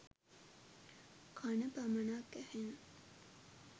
කණ පමණක් ඇහෙන